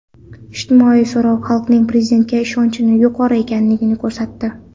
Ijtimoiy so‘rov xalqning Prezidentga ishonchi yuqori ekanini ko‘rsatdi.